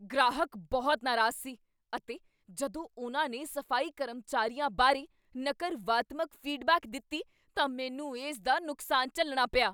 ਗ੍ਰਾਹਕ ਬਹੁਤ ਨਾਰਾਜ਼ ਸੀ ਅਤੇ ਜਦੋਂ ਉਨ੍ਹਾਂ ਨੇ ਸਫ਼ਾਈ ਕਰਮਚਾਰੀਆਂ ਬਾਰੇ ਨਕਰਵਾਤਮਕ ਫੀਡਬੈਕ ਦਿੱਤੀ ਤਾਂ ਮੈਨੂੰ ਇਸ ਦਾ ਨੁਕਸਾਨ ਝੱਲਣਾ ਪਿਆ।